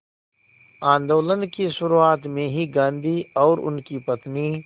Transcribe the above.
आंदोलन की शुरुआत में ही गांधी और उनकी पत्नी